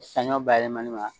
Sanɲɔ bayɛlɛmali la